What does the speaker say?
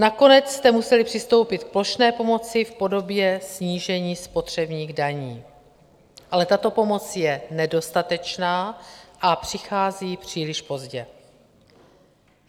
Nakonec jste museli přistoupit k plošné pomoci v podobě snížení spotřebních daní, ale tato pomoc je nedostatečná a přichází příliš pozdě.